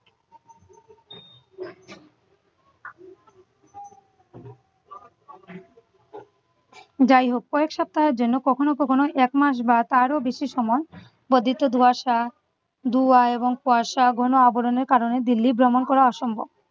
যাইহোক কয়েক সপ্তাহের জন্য কখনো কখনো এক মাস বা তারও বেশি সময় বর্ধিত ধোঁয়াশা ধোয়া এবং কুয়াশা ঘন আবরণের কারণে দিল্লি ভ্রমণ করা অসম্ভব ।